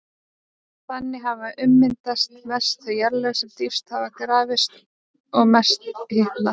Þannig hafa ummyndast mest þau jarðlög sem dýpst hafa grafist og mest hitnað.